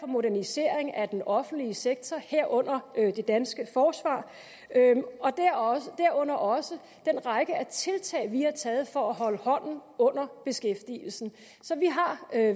modernisering af den offentlige sektor herunder det danske forsvar og herunder også den række af tiltag vi har taget for at holde hånden under beskæftigelsen så vi har